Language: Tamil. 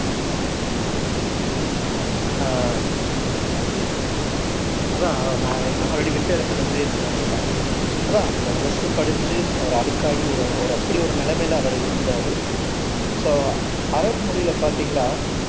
ஆஹ் அதான் நான் ஓல்ரெடி விட்ட இடத்துல இருந்தே துவங்குறன் அதான் அந்த டிரஸ் படிஞ்சு அவர் அழுக்காகி ஒரு அப்படி ஒரு நிலைமைல அவரு இருந்தாரு சோ அரபு மொழியில பாத்திங்கன்னா